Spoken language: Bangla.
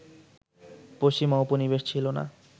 পশ্চিমা উপনিবেশ ছিল না